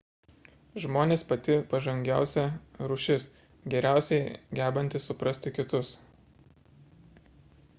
žmonės – pati pažangiausia rūšis geriausiai gebanti suprasti kitus